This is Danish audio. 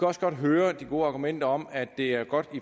også godt høre de gode argumenter om at det er godt